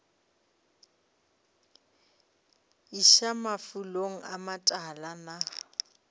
iša mafulong a matala na